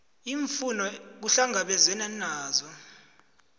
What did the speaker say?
iimfuno kuhlangabezwene nazo